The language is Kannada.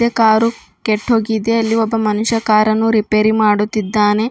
ಕಾರು ಕೆಟ್ಟೋಗಿದೆ ಅಲ್ಲಿ ಒಬ್ಬ ಮನುಷ್ಯ ಕಾರನ್ನು ರಿಪೇರಿ ಮಾಡುತ್ತಿದ್ದಾನೆ.